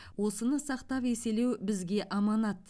осыны сақтап еселеу бізге аманат